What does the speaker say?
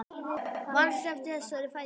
Lóa: Manstu eftir þessari fæðingu?